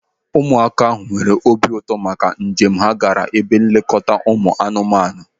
Ụmụaka ahụ nwere obi ụtọ maka njem ha gaara ebe nlekọta ụmụ anụmanụ.